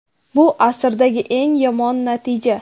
Bu asrdagi eng yomon natija.